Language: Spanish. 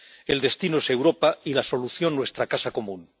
El destino es Europa, y la solución, nuestra casa común.